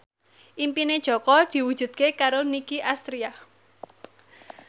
impine Jaka diwujudke karo Nicky Astria